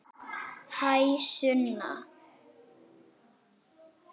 Hæ, Sunna.